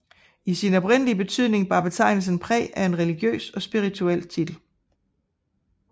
I sin oprindelige betydning bar betegnelsen præg af en religiøs og spirituel titel